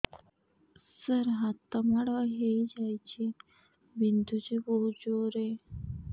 ସାର ହାତ ମାଡ଼ ହେଇଯାଇଛି ବିନ୍ଧୁଛି ବହୁତ ଜୋରରେ